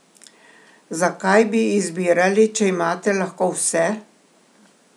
Zakaj bi izbirali, če imate lahko vse?